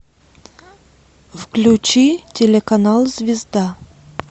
включи телеканал звезда